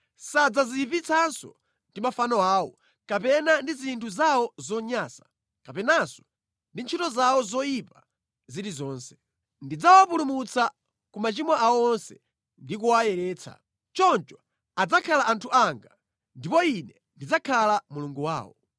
Sadzadziyipitsanso ndi mafano awo, kapena ndi zinthu zawo zonyansa, kapenanso ndi ntchito zawo zoyipa zilizonse. Ndidzawapulumutsa ku machimo awo onse ndi kuwayeretsa. Choncho adzakhala anthu anga, ndipo Ine ndidzakhala Mulungu wawo.